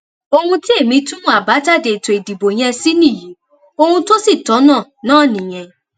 ohun tí èmi túmọ àbájáde ètò ìdìbò yẹn sì nìyí ohun tó sì tọnà náà nìyẹn